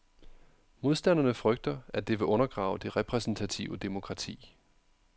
Modstanderne frygter, at det vil undergrave det repræsentative demokrati.